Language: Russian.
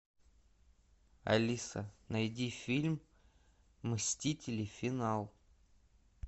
алиса найди фильм мстители финал